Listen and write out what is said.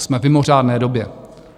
Jsme v mimořádné době.